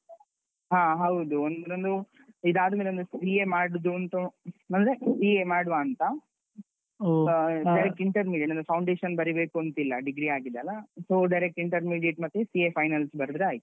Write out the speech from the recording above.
ಹ ಹೌದು ಒಂದು ಇದಾದ್ಮೇಲೆ ಒಂದು CA ಮಾಡುದೂಂತ ಅಂದ್ರೆ CA ಮಾಡುವಾಂತ direct intern ಇದೆ, ಅಂದ್ರೆ foundation ಬರಿಬೇಕೂಂತ ಇಲ್ಲ, degree ಆಗಿದೆಲ್ಲ so direct intermediate ಮತ್ತೆ CA finals ಬರ್ದ್ರೆ ಆಯ್ತು.